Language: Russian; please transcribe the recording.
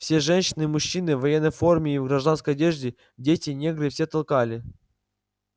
все женщины мужчины в военной форме и в гражданской одежде дети негры все ткали